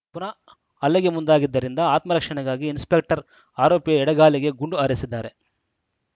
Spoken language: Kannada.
ಪುನಃ ಹಲ್ಲೆಗೆ ಮುಂದಾಗಿದ್ದರಿಂದ ಆತ್ಮರಕ್ಷಣೆಗಾಗಿ ಇನ್ಸ್‌ಪೆಕ್ಟರ್‌ ಆರೋಪಿಯ ಎಡಗಾಲಿಗೆ ಗುಂಡು ಹಾರಿಸಿದ್ದಾರೆ